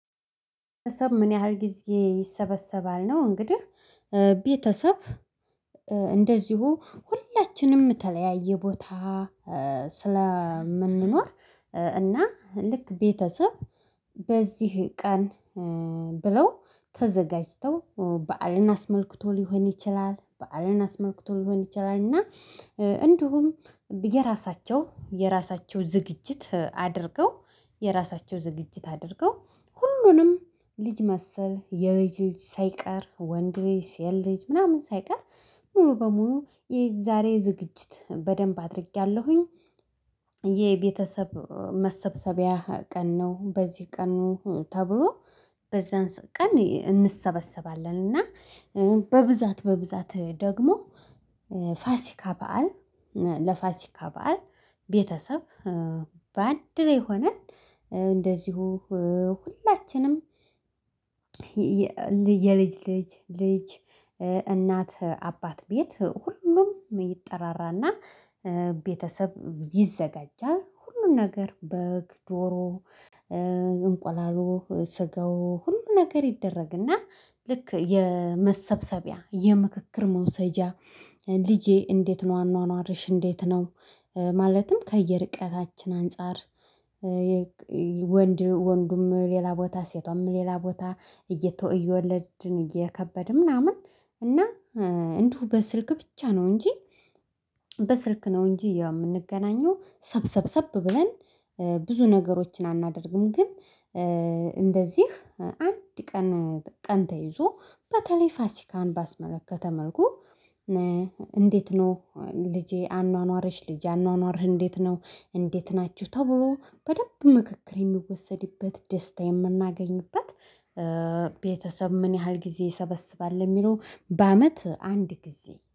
ቤተሰብ ምን ያህል ጊዜ ይሰበሰባል? ነው እንግዲህ ቤተሰብ እንደዚሁ ሁላችንም የተለያየ ቦታ ስለምንኖር እና ልክ ቤተሰብ በዚህ ቀን ብለው ተዘጋጅተው በዓልን አስመልክቶ ልሆን ይችላል በዓልን አስመልክቶ ልሆን ይችላልና እንዲሁም የራሳቸው የራሳቸው ዝግጅት አድርገው የራሳቸው ዝግጅት አድርገው ሁሉንም ልጅ መሰል የልጅ ልጅ ሳይቀር ወንድ ልጅ ሴት ልጅ ምናምን ሳይቀር ሙሉ በሙሉ የዛሬ ዝግጅት በደንብ አድርግያለሁኝ የቤተሰብ መሰብሰቢያ ቀን ነው በዚህ ቀኑ ተብሎ በዛን ቀን እንሰበሰባለን እና በብዛት በብዛት ደግሞ ፋስካ በዓል ለፋስካ በዓል ቤተሰብ በአንድ ላይ ሆነን እንደዚሁ ሁላችንም የልጅ ልጅ፣ ልጅ እናት አባት ቤት ሁሉም ይጠራራና ቤተሰብ ይዘጋጃል። ሁሉም ነገር በግ ዶሮ እንቁላሉ ስጋው ሁሉ ነገር ይደረግና ልክ የመሰብሰቢያ የምክክር መውሰጃ ልጄ እንዴት ነው አኗኗርሽ? እንዴት ነው? ማለትም ከየርቀታችን አንፃር ወንድ ወንዱም ሌላ ቦታ ሴቷም ሌላ ቦታ እየተወ እየወለድን እየከበድን ምናምን እና እንዲሁ በስልክ ብቻ ነው እንጂ በስልክ ነው እንጂ የምንገናኘው ሰብሰብሰብ ብለን ብዙ ነገሮችን አናደርግም። ግን እንደዚህ አንድ ቀን ቀን ተይዞ በተለይ ፋሲካን ባስመለከተ መልኩ እንዴት ነው? ልጄ አኗኗርሽ ልጄ አኗኗርህ እንዴት ነው? እንዴት ናችሁ? ተብሎ በደንብ ምክክር የሚወሰድበት ደስታ የምናገኝበት ቤተሰብ ምን ያህል ጊዜ ይሰበስባል? ለሚለው በአመት አንድ ጊዜ